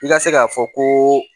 I ka se k'a fɔ ko